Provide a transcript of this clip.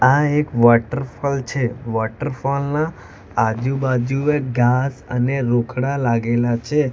આ એક વોટરફોલ છે વોટરફોલ ના આજુબાજુએ ઘાસ અને રોકડા લાગેલા છે.